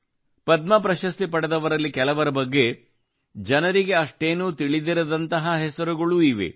ಪದ್ಮ ಪ್ರಶಸ್ತಿಯನ್ನು ಪಡೆದವರಲ್ಲಿ ಕೆಲವರ ಬಗ್ಗೆ ಜನರಿಗೆ ಅಷ್ಟೇನೂ ತಿಳಿದಿರದಂತಹ ಹೆಸರುಗಳೂ ಇವೆ